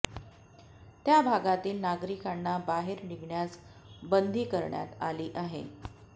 त्या भागातील नागरिकांना बाहेर निघण्यास बंदी करण्यात आली आहे